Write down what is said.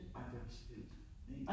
Ej det også vildt ik